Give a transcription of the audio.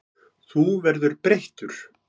Þú verður breyttur.